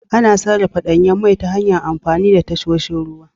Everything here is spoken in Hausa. Ana safarar danyen mai ta hanyar amfani da tasoshin ruwa.